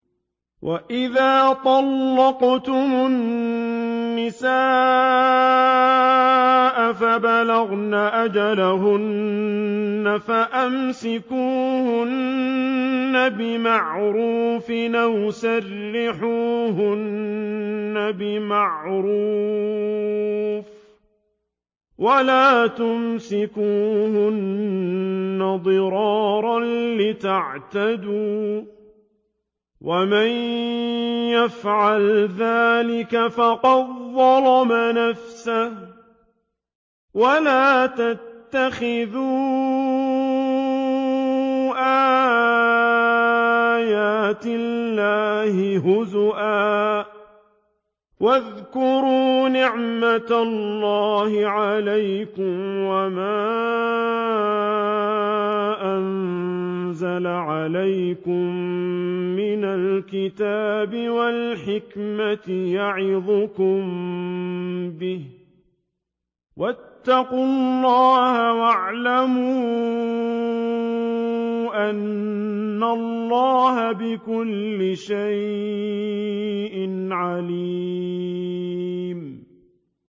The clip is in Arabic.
وَإِذَا طَلَّقْتُمُ النِّسَاءَ فَبَلَغْنَ أَجَلَهُنَّ فَأَمْسِكُوهُنَّ بِمَعْرُوفٍ أَوْ سَرِّحُوهُنَّ بِمَعْرُوفٍ ۚ وَلَا تُمْسِكُوهُنَّ ضِرَارًا لِّتَعْتَدُوا ۚ وَمَن يَفْعَلْ ذَٰلِكَ فَقَدْ ظَلَمَ نَفْسَهُ ۚ وَلَا تَتَّخِذُوا آيَاتِ اللَّهِ هُزُوًا ۚ وَاذْكُرُوا نِعْمَتَ اللَّهِ عَلَيْكُمْ وَمَا أَنزَلَ عَلَيْكُم مِّنَ الْكِتَابِ وَالْحِكْمَةِ يَعِظُكُم بِهِ ۚ وَاتَّقُوا اللَّهَ وَاعْلَمُوا أَنَّ اللَّهَ بِكُلِّ شَيْءٍ عَلِيمٌ